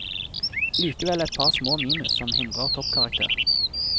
Likevel et par små minus som hindrer toppkarakter.